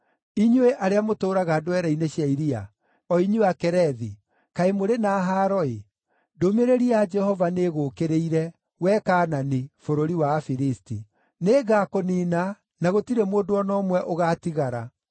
Inyuĩ arĩa mũtũũraga ndwere-inĩ cia iria, o inyuĩ Akerethi, kaĩ mũrĩ na haaro-ĩ! Ndũmĩrĩri ya Jehova nĩ ĩgũũkĩrĩire, wee Kaanani, bũrũri wa Afilisti. “Nĩngakũniina, na gũtirĩ mũndũ o na ũmwe ũgaatigara.”